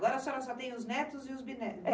Agora a senhora só tem os netos e os bisnetos?